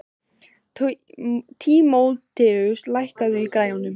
Tímoteus, lækkaðu í græjunum.